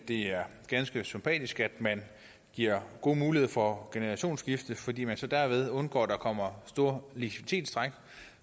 det er ganske sympatisk at man giver gode muligheder for generationsskifte fordi man så derved undgår at der kommer store likviditetstræk